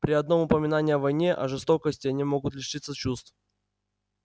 при одном упоминании о войне о жестокости они могут лишиться чувств